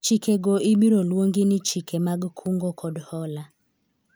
chikego ibiro luongi ni chike mag kungo kod hola